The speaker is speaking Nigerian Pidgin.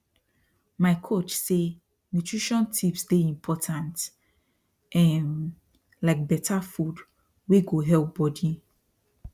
my coach say nutrition tips dey important um like better food wey go help body